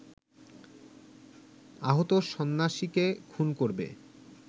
আহত সন্ন্যাসীকে খুন করবে